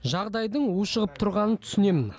жағдайдың ушығып тұрғанын түсінемін